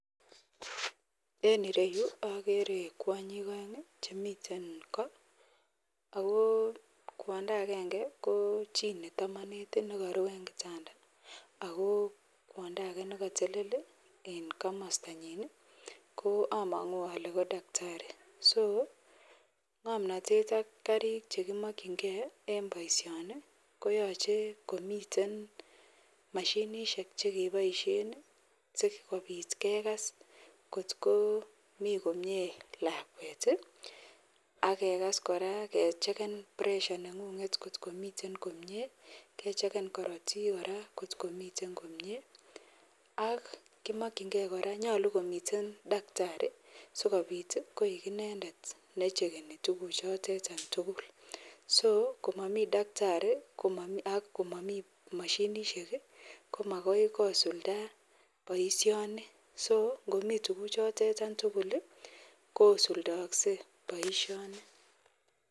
En ireyu agere kwanyik aeng Chemiten ko ago kwanda agenge ko chi nemi matanati nekaruu en kitanda ako kwanda age nekatelel en kamasta nyin komangu Kole ko daktari so ngamnatet ak Karik chekimakingei en baishoni koyache komiten mashinishek chekibaishen sikobit kekas kot ko mi komie lakwet akekas koraa kecheken presha nenguget kot Komi komie kecheken korotik koraa kotkomiten komie ak komakingei akoyache konget akomiten daktari sikobit koik inendet necheru akochekeni tuguk chotet tugul so komami daktari akomami mashinishek komagoi kosulda baishoni so Komi tuguk chotetan tugul kosuldoakse baishoni